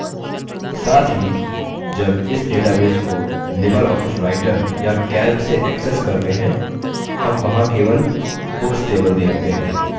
साथ ही जब इस database को libreoffice writer या calc से एक्सेस करते हैं हम वहाँ केवल books table देखते हैं